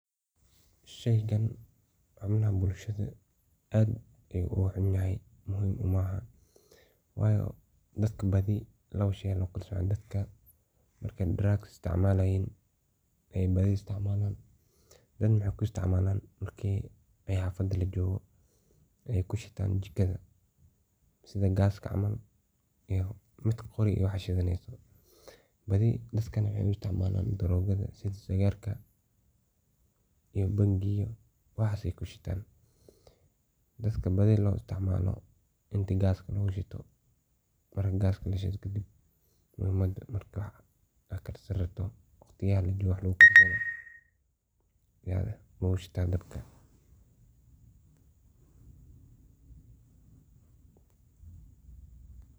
Sheygan malamahan bulshada aad maogu ah wayo dad ba u isticmala drugs iyo hoteladha waxa dadka badina waxey kushitan oo isticmalan darogadha sidha sigarka iyo bangiga waxas ay kushitan. camal radsadhan. Toshkan ayaa aad iyo aad muhim ugu ah si dul socodka iyo waxas ogu radsadhan yaa iskaga rebi yaad gaska lagu shito.